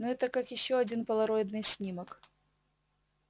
но это как ещё один полароидный снимок